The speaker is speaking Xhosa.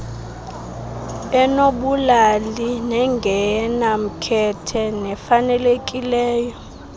enobulali nengenamkhethe nefanelekileyo